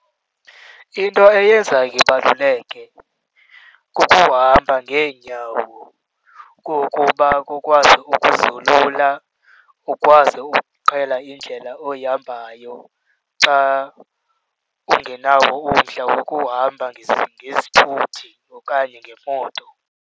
Into eyenza ibaluleke kukuhamba ngeenyawo. Kukuba kukwazi ukuzolula, ukwazi ukuqhela indlela oyihambayo xa ungenawo umdla wokuhamba ngezithuthi okanye ngemoto.